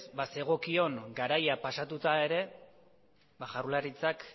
zegokion garaia pasatuta ere jaurlaritzak